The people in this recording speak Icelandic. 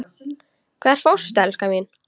Hvert fórstu, elskan mín?